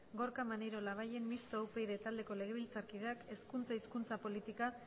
gorka maneiro labayen mistoa upyd taldeko legebiltzarkideak hezkuntza hizkuntza politika